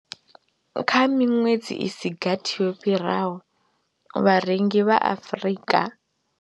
Kha miṅwedzi i si gathi yo fhiraho, vharengi vha Afrika.